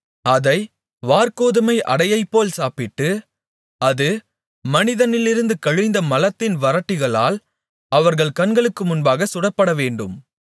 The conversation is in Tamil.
அதை வாற்கோதுமை அடையைப்போல் சாப்பிடு அது மனிதனிலிருந்து கழிந்த மலத்தின் வறட்டிகளால் அவர்கள் கண்களுக்கு முன்பாகச் சுடப்படவேண்டும்